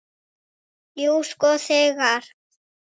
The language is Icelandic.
Jú, sko þegar.